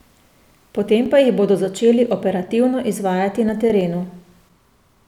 Potem pa jih bodo začeli operativno izvajati na terenu.